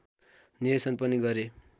निर्देशन पनि गरे